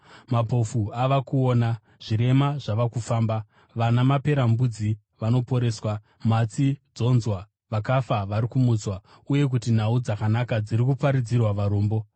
Mapofu ava kuona, zvirema zvava kufamba, vana maperembudzi vanoporeswa, matsi dzonzwa, vakafa vari kumutswa, uye kuti nhau dzakanaka dziri kuparidzirwa varombo.